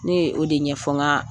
Ne o de ɲɛ ɲɛfɔ n ka